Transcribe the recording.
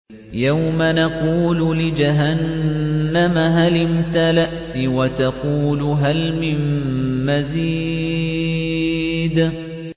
يَوْمَ نَقُولُ لِجَهَنَّمَ هَلِ امْتَلَأْتِ وَتَقُولُ هَلْ مِن مَّزِيدٍ